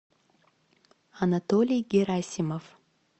анатолий герасимов